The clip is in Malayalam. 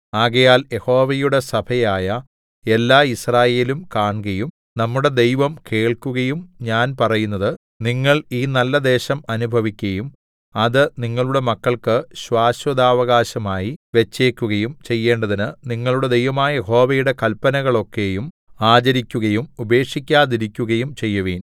ആകയാൽ യഹോവയുടെ സഭയായ എല്ലാ യിസ്രായേലും കാൺകയും നമ്മുടെ ദൈവം കേൾക്കുകയും ഞാൻ പറയുന്നത് നിങ്ങൾ ഈ നല്ലദേശം അനുഭവിക്കയും അത് നിങ്ങളുടെ മക്കൾക്ക് ശാശ്വതാവകാശമായി വെച്ചേക്കുകയും ചെയ്യേണ്ടതിന് നിങ്ങളുടെ ദൈവമായ യഹോവയുടെ കല്പനകളൊക്കെയും ആചരിക്കുകയും ഉപേക്ഷിക്കാതിരിക്കുകയും ചെയ്യുവിൻ